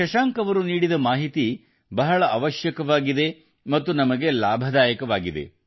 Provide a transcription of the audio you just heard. ಶಶಾಂಕ್ ಅವರು ನೀಡಿದ ಮಾಹಿತಿ ಬಹಳ ಅವಶ್ಯಕವಾಗಿದೆ ಮತ್ತು ಲಾಭದಾಯಕವಾಗಿದೆ